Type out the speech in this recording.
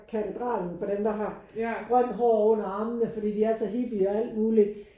Katedralen for dem der har grønt hår under armene fordi de er så hippie og alt muligt